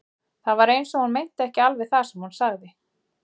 Það var eins og hún meinti ekki alveg það sem hún sagði.